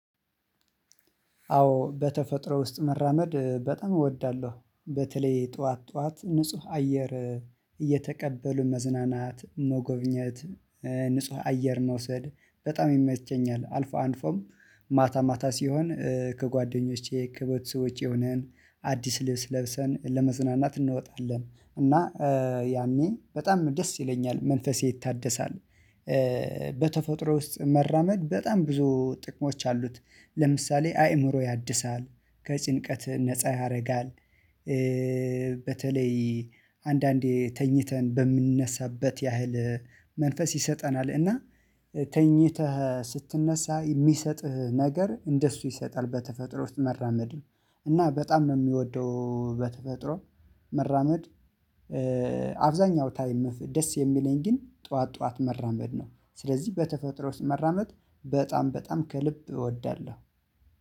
አዎ በተፈጥሮ ውስጥ መራመድ በጣም እወዳለሁ። በተለይ ጠዋት ጠዋት ንጹህ አየር እየተቀበሉ መዝናናት መጎብኘት ንጹህ አየር መውሰድ በጣም ይመቸኛል። አልፎ አልፎም ማታ ማታ ሲሆን ከጓደኞቼ ከቤተሰቦቼ ውጪ ሆነን አዲስ ልብስ ለብሰን ለመዝናናት እንወጣለን እና ያኔ በጣም ደስ ይለኛል መንፈሴ ይታደሳል። በተፈጥሮ ውስጥ መራመድ በጣም ብዙ ጥቅሞች አሉት። ለምሳሌ አእምሮ ያድሳል። ከጭንቀት ነፃ ያደርጋል። በተለይ አንዳንዴ ተኝተን በምንነሳበት ያህል መንፈስ ይሰጠናል እና ተኝተህ ስትነሳ የሚሰጥህ ነገር እንደሱ ይሰጣል። በተፈጥሮ ውስጥ መራመድ እና በጣም ነው የሚወደው በተፈጥሮ መራመድ። አብዛኛው ታይም ደስ የሚለኝ ግን ጠዋት ጠዋት መራመድ ነው። ስለዚህ በተፈጥሮ ውስጥ መራመድ በጣም በጣም ከልብ እወዳለሁ